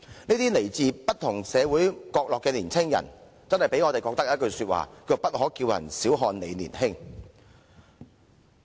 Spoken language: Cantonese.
這些來自不同社會角落的青年人，令我們不禁說一句"不可叫人小看你年輕"。